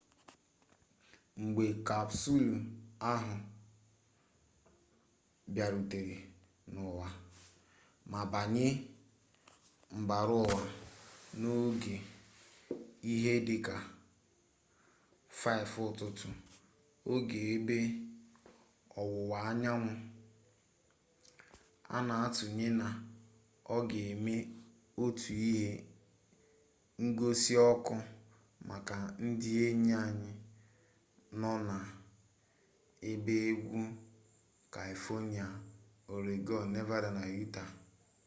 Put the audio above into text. mgbe kapsụlụ ahụ bịarutere n’ụwa ma banye mbara ụwa n’oge ihe dị ka 5 ụtụtụ oge ebe ọwụwa anyanwụ a na-atụanya na ọ ga-eme otu ihe ngosi ọkụ maka ndị enyi anyị nọ na ebe ugwu kaifonịa ọregọn nevada na yutaa